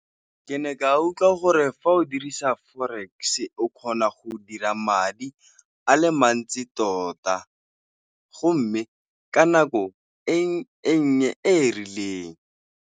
Ke ne ka utlwa gore fa o dirisa forex, o kgona go dira madi a le mantsi tota go mme ka nako e nnye, e rileng.